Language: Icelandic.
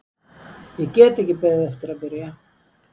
Ég get ekki beðið eftir að byrja.